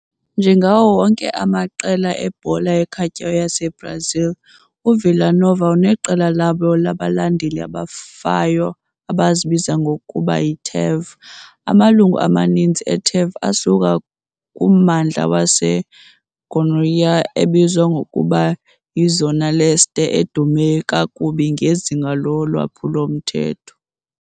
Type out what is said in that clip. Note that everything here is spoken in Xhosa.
Njengawo onke amaqela ebhola ebhola ekhatywayo yaseBrazil, uVila Nova uneqela labo labalandeli abafayo abazibiza ngokuba 'yi-TEV'. Amalungu amaninzi e-TEV asuka kummandla waseGoiánia ebizwa ngokuba yiZona Leste edume kakubi ngezinga lolwaphulo-mthetho.